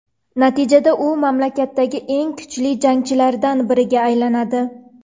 Natijada u mamlakatdagi eng kuchli jangchilardan biriga aylanadi.